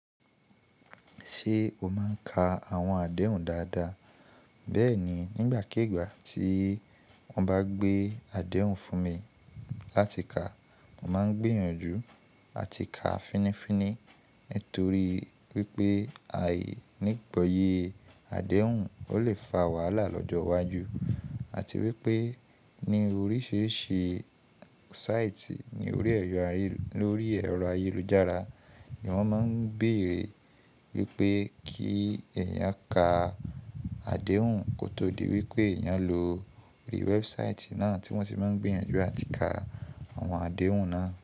Ṣé o máa ń ka àwọn àdéhùn dáadáa? Bẹ́ẹ̀ni, nígbàkígbà tí wọ́n bá gbé àdéhùn fún mi láti ka, mo máa ń gbìyànjú àti ka fínifíni. Nítorí wípé àìní ìgboyè àdéhùn o le fa wàhálà lọ́jọ́ iwájú àti wípé ní oríṣiríṣi sáìtì ní orí ẹ̀rọ ayélujára ni wọ́n máa ń béèrè wípé kí èèyàn ka àdéhùn kótó di wípé èèyàn lòò rí wẹ́ẹ́búsáìtì náà tí wọ́n ti máa ń gbìyànjú àti ka àwọn àdéhùn náà.